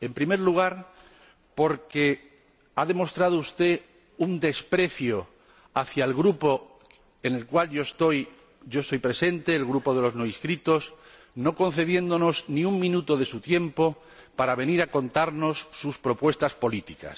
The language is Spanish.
En primer lugar, porque ha demostrado usted un desprecio hacia el Grupo al que pertenezco, el Grupo de los No Inscritos, no concediéndonos ni un minuto de su tiempo para venir a contarnos sus propuestas políticas.